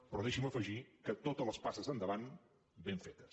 però deixi’m afegir que totes les passes endavant ben fetes